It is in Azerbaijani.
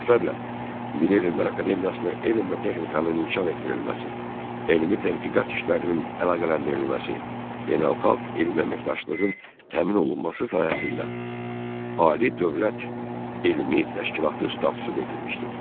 Bu məqsədlə Milli Elmlər Akademiyasına elm və texnikanın inkişaf etdirilməsi, elmi tədqiqat işlərinin əlaqələndirilməsi, beynəlxalq elmi əməkdaşlığın təmin olunması sahəsində Ali dövlət elmi təşkilatı statusu verilmişdir.